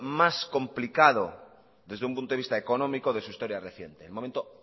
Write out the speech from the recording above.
más complicado desde un punto de vista económico de su historia reciente el momento